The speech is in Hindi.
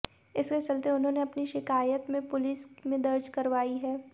इसके चलते उन्होंने अपनी शिकायत में पुलिस में दर्ज करवाई है